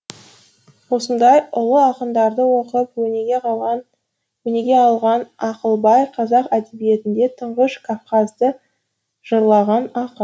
осындай ұлы ақындарды оқып өнеге алған ақылбай қазақ әдебиетінде тұңғыш кавказды жырлаған ақын